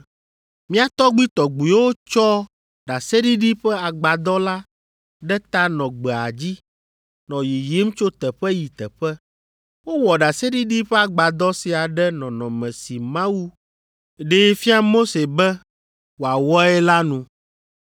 “Mía tɔgbuitɔgbuiwo tsɔ ɖaseɖiɖi ƒe agbadɔ la ɖe ta nɔ gbea dzi, nɔ yiyim tso teƒe yi teƒe. Wowɔ ɖaseɖiɖi ƒe agbadɔ sia ɖe nɔnɔme si Mawu ɖee fia Mose be wòawɔe la nu.